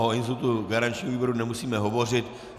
O institutu garančního výboru nemusíme hovořit.